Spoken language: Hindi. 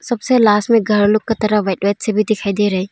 सबसे लास्ट में घर लोग की तरफ बैठे सभी दिखाई दे रहे।